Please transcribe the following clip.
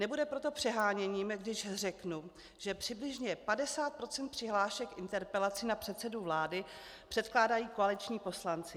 Nebude proto přeháněním, když řeknu, že přibližně 50 % přihlášek interpelací na předsedu vlády předkládají koaliční poslanci.